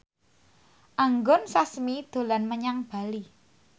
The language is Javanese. Anggun Sasmi dolan menyang Bali